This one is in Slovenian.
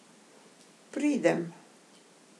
Pridem.